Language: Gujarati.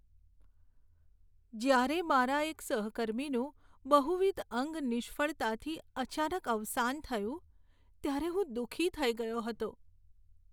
જ્યારે મારા એક સહકર્મીનું બહુવિધ અંગ નિષ્ફળતાથી અચાનક અવસાન થયું, ત્યારે હું દુઃખી થઈ ગયો હતો.